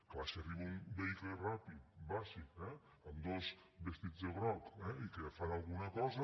clar si arriba un vehicle ràpid bàsic eh amb dos vestits de groc i que ja fan alguna cosa